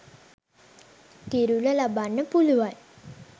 කිරුළ ලබන්න පුළුවන්